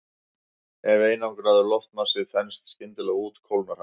Ef einangraður loftmassi þenst skyndilega út kólnar hann.